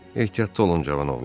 Ehtiyatlı olun cavan oğlan.